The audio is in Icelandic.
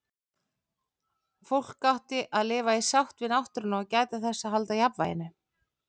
Fólk átti að lifa í sátt við náttúruna og gæta þess að halda jafnvæginu.